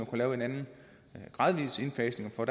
kunne lave en anden gradvis indfasning for